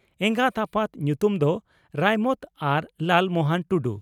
ᱮᱸᱜᱟᱛ ᱟᱯᱟᱛ ᱧᱩᱛᱩᱢ ᱫᱚ ᱨᱟᱭᱢᱟᱹᱛ ᱟᱨ ᱞᱟᱞᱢᱚᱦᱚᱱ ᱴᱩᱰᱩ ᱾